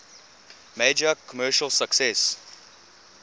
major commercial success